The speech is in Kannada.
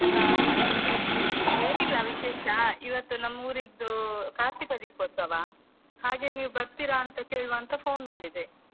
ಹಾ ಹ ಹ ಏನಿಲ್ಲ ವಿಶೇಷ, ಇವತ್ತು ನಮೂರಿದ್ದು ಕಾರ್ತಿಕ ದೀಪೋತ್ಸವ, ಹಾಗೆ ನೀವ್ ಬರ್ತೀರಾ ಅಂತ ಕೇಳುವ ಅಂತ phone ಮಾಡಿದೆ.